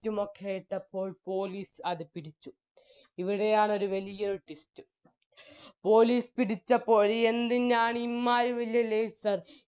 light ഉമൊക്കെ ഇട്ടപ്പോൾ police അത് പിടിച്ചു എവിടെയാണൊരു വലിയൊരു twist police പിടിച്ചപ്പോൾ എന്തിനാണ് ഈമ്മാരി വെല്യ laser